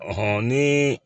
ni